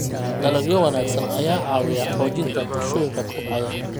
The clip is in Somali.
Dalagyo wanaagsan ayaa caawiya xoojinta bulshooyinka kobcaya.